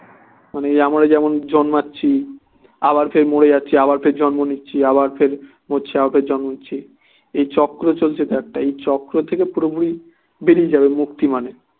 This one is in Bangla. মানে আমরা যেমন জন্মাচ্ছি আবার ফের মরে যাচ্ছি আবার ফের জন্ম নিচ্ছি আবার ফের মরছি আবার ফের জন্ম নিচ্ছি এ চক্র চলছে তো একটা এই চক্র থেকে পুরোপুরি বেরিয়ে যাবে মুক্তি মানে